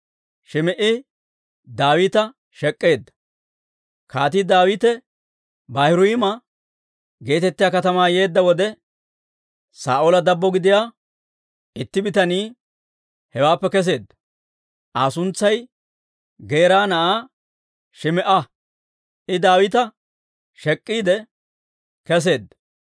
Kaatii Daawite Baahuriima geetettiyaa katamaa yeedda wode, Saa'oola dabbo gidiyaa itti bitanii hewaappe kesseedda. Aa suntsay Geera na'aa Shim"a. I Daawita shek'iidde kesseedda.